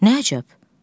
Nə əcəb?